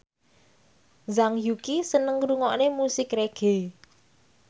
Zhang Yuqi seneng ngrungokne musik reggae